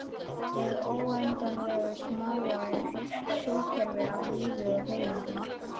Hið óendanlega smáa er heilt sólkerfi af lífi og hreyfingu.